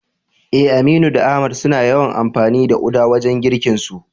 Eh, Aminu da Ahmad suna yawan amfani da uda wajen girkinsu.